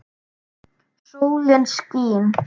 Sólin skín.